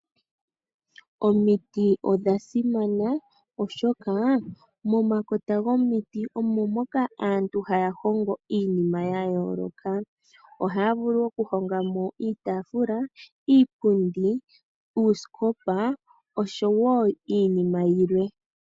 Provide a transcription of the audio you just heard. Omiti odha simana oshoka mo makota gomiti omo moka aantu haya hongo iinima ya yooloka. Ohaya vulu oku hongaa mo iitaafula, iipundi, uusikopa oshowo iinima yilwe.